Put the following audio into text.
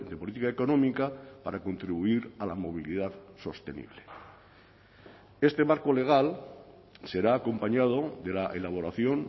política económica para contribuir a la movilidad sostenible este marco legal será acompañado de la elaboración